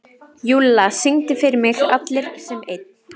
Júlla, syngdu fyrir mig „Allir sem einn“.